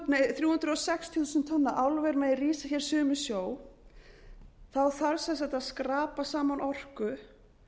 að þrjú hundruð sextíu þúsund tonna álver megi rísa hér suður með sjó þarf sem sagt að skrapa saman orku